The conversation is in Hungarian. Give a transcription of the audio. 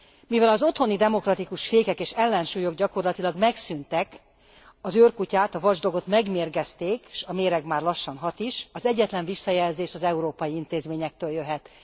Mivel az otthoni demokratikus fékek és ellensúlyok gyakorlatilag megszűntek, az őrkutyát, a watchdogot megmérgezték, s a méreg már lassan hat is, az egyetlen visszajelzés az európai intézményektől jöhet.